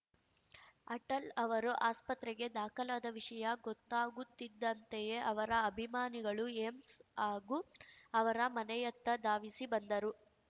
ಅಟಲ್‌ ಅವರು ಆಸ್ಪತ್ರೆಗೆ ದಾಖಲಾದ ವಿಷಯ ಗೊತ್ತಾಗುತ್ತಿದ್ದಂತೆಯೇ ಅವರ ಅಭಿಮಾನಿಗಳು ಏಮ್ಸ್‌ ಹಾಗೂ ಅವರ ಮನೆಯತ್ತ ಧಾವಿಸಿ ಬಂದರು